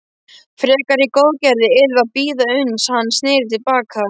Frekari góðgerðir yrðu að bíða uns hann sneri til baka.